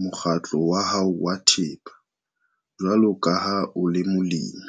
mokgatlo wa hao wa thepa, jwalo ka ha o le molemi?